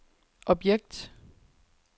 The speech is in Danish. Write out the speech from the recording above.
objekt